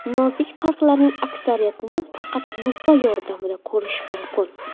Nozik farqlarning aksariyatini faqat lupa yordamida ko‘rish mumkin.